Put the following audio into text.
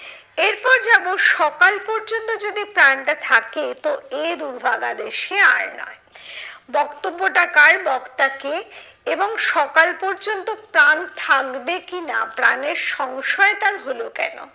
এরপর যাবো, সকাল পর্যন্ত যদি প্রাণটা থাকে তো এ দুর্ভাগা দেশে আর নয়। বক্তব্যটা কার, বক্তা কে? এবং সকাল পর্যন্ত প্রাণ থাকবে কি না প্রাণের সংশয় তার হলো কেন?